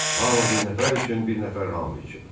Hamı bir nəfər üçün, bir nəfər hamı üçün.